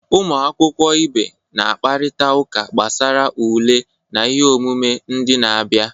Ụmụ akwụkwọ ibe na-akparịta ụka gbasara ule na ihe omume ndị na-abịa